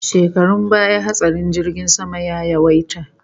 Shekarun baya hatsarin jirgin sama ya yawaita